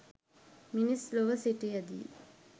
මිනිස් ලොව සිටියදී